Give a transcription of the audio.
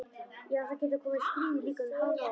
Já en það getur komið stríð, líka um hánótt.